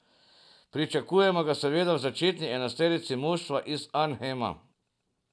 Pričakujemo ga seveda v začetni enajsterici moštva iz Arnhema.